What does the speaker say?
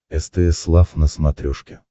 стс лав на смотрешке